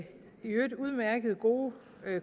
øvrigt udmærkede gode